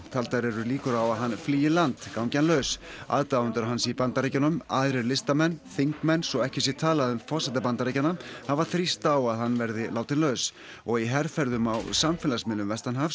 taldar eru líkur á að hann flýi land gangi hann laus aðdáendur hans í Bandaríkjunum aðrir listamenn þingmenn svo ekki sé talað um forseta Bandaríkjanna hafa þrýst á að hann verði látinn laus og í herferðum á samfélagsmiðlum